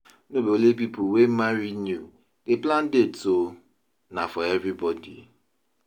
No be only people wey marry new dey plan dates o, na for everybodi.